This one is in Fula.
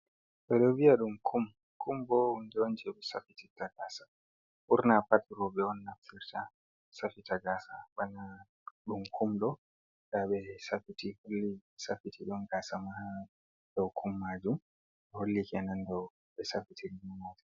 Ɓeɗo viya ɗum, kum, kum bo hunde on je ɓe safiti ta gasa ɓurna pati roɓɓe on naftirta safita gasa bana ɗum kum ɗo nda ɓe safiti holli safiti don gasa ma ha dow kum maju hollikena ndo ɓe safiti rninoti